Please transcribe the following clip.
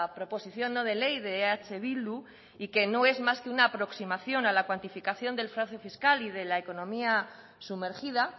proposición no de ley de eh bildu y que no es más que una aproximación a la cuantificación del fraude fiscal y de la economía sumergida